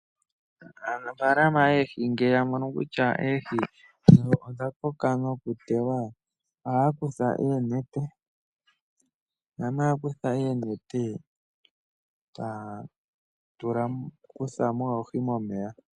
Aanafalama yo oohi ngele ya mono kutya oohi dhimwe odha koka nokuteya ohaya kutha oonete, shampa ya kutha oonete e taya kutha mo oohi momeya.